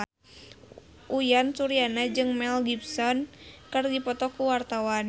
Uyan Suryana jeung Mel Gibson keur dipoto ku wartawan